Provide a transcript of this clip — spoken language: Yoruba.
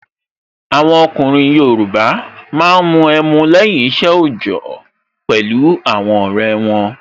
Àwọn ọkùnrin Yoruba máa ń mu ẹmu lẹ́yìn isẹ ojọ pẹ̀lú àwọn ọrẹ won